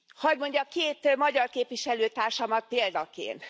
Hadd mondjak két magyar képviselőtársamat példaként.